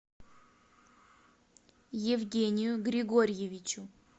евгению григорьевичу